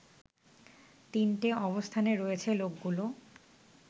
তিনটে অবস্থানে রয়েছে লোকগুলো